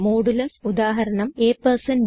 modulus ഉദാഹരണം ab